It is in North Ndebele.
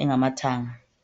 engamathanga.